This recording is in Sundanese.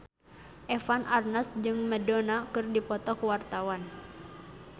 Eva Arnaz jeung Madonna keur dipoto ku wartawan